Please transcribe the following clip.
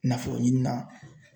Nafolo ɲini na.